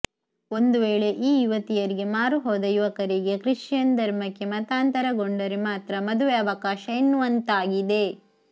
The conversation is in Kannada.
ಒಂದು ವೇಳೆ ಈ ಯುವತಿಯರಿಗೆ ಮಾರು ಹೋದ ಯುವಕರಿಗೆ ಕಿಶ್ಚಿಯನ್ ಧರ್ಮಕ್ಕೆ ಮತಾಂತರಗೊಂಡರೆ ಮಾತ್ರ ಮದುವೆ ಅವಕಾಶ ಎನ್ನುವಂತಾಗಿದೆ